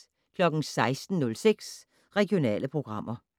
16:06: Regionale programmer